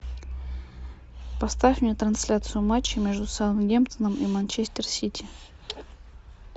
поставь мне трансляцию матча между саутгемптоном и манчестер сити